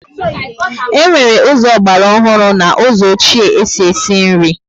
E nwere ụzọ ogbara ọhụrụ na ụzọ ọchie e si esi nri